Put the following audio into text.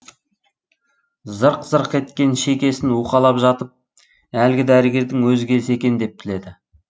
зырқ зырқ еткен шекесін уқалап жатып әлгі дәрігердің өзі келсе екен деп тіледі